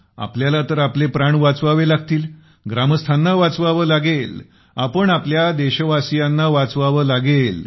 आपल्याला तर आपले प्राण वाचवावे लागतील ग्रामस्थांना वाचवावे लागेल आपल्या देशवासीयांना वाचवावे लागेल